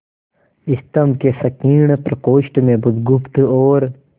स्तंभ के संकीर्ण प्रकोष्ठ में बुधगुप्त और